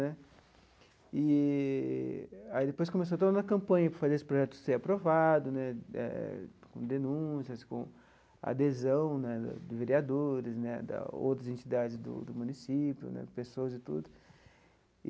Né eee aí depois começou toda uma campanha para fazer esse projeto ser aprovado né, eh com denúncias, com adesão né de vereadores né, de outras entidades do do município né, pessoas e tudo.